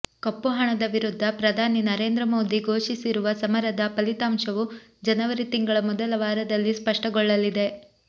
ಕಪ್ಪುಹಣದ ವಿರುದ್ಧ ಪ್ರಧಾನಿ ನರೇಂದ್ರ ಮೋದಿ ಘೋಷಿಸಿರುವ ಸಮರದ ಫಲಿತಾಂಶವು ಜನವರಿ ತಿಂಗಳ ಮೊದಲ ವಾರದಲ್ಲಿ ಸ್ಪಷ್ಟಗೊಳ್ಳಲಿದೆ